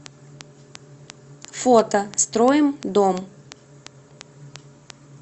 фото строим дом